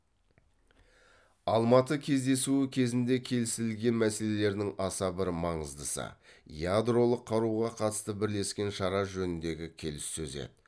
алматы кездесуі кезінде келісілген мәселелердің аса бір маңыздысы ядролық қаруға қатысты бірлескен шара жөніндегі келіссөз еді